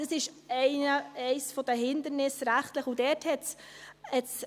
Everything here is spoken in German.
Das ist eines der rechtlichen Hindernisse.